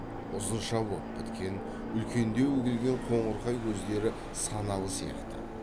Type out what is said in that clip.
ұзынша боп біткен үлкендеу келген қоңырқай көздері саналы сияқты